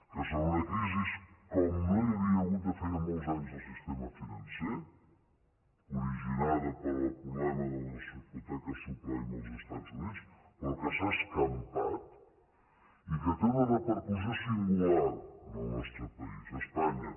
que és una crisi como no hi havia hagut de feia molts anys en el sistema financer originada pel problema de les hipo·teques subprime als estats units però que s’ha escam·pat i que té una repercussió singular en el nostre país a espanya